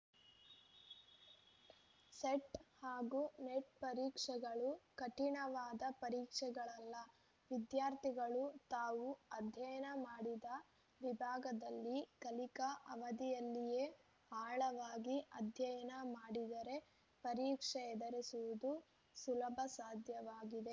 set ಹಾಗೂ NET ಪರೀಕ್ಷೆಗಳು ಕಠಿಣವಾದ ಪರೀಕ್ಷೆಗಳಲ್ಲ ವಿದ್ಯಾರ್ಥಿಗಳು ತಾವು ಅಧ್ಯಯನ ಮಾಡಿದ ವಿಭಾಗದಲ್ಲಿ ಕಲಿಕಾ ಅವಧಿಯಲ್ಲಿಯೇ ಆಳವಾಗಿ ಅಧ್ಯಯನ ಮಾಡಿದರೇ ಪರೀಕ್ಷೆ ಎದುರಿಸುವುದು ಸುಲಭ ಸಾಧ್ಯವಾಗಿದೆ